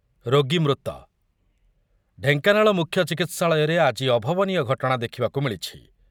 ରୋଗୀ ମୃତ, ଢେଙ୍କାନାଳ ମୁଖ୍ୟ ଚିକିତ୍ସାଳୟରେ ଆଜି ଅଭାବନୀୟ ଘଟଣା ଦେଖିବାକୁ ମିଳିଛି ।